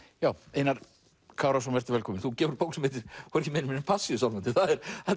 Einar Kárason velkominn þú gefur út bók sem heitir hvorki meira né minna en Passíusálmarnir það er